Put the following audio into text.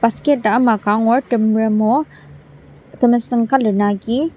basket ama ka angur temerem o temesüng colour na agi.